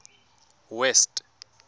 west